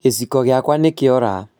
Gĩciko gĩakwa nĩkĩora